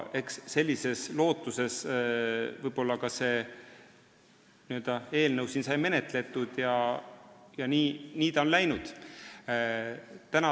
Eks sellise lootusega sai siin ka seda eelnõu menetletud ja nii ta on läinud.